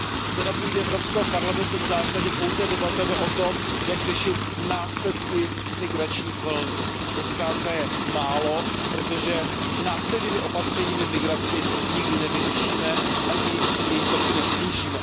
Zde, na půdě Evropského parlamentu, v zásadě pouze debatujeme o tom, jak řešit následky migračních vln, a to zkrátka je málo, protože následnými opatřeními migraci nikdy nevyřešíme, ani její toky nesnížíme.